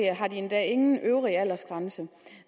har de endda ingen øvre aldersgrænse